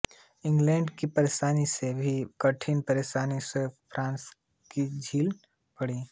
England की परेशानी से भी कठिन परेशानी स्वयं फ्रांस को झेलनी पड़ी